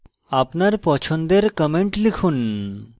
আপনার পছন্দের comments লিখুন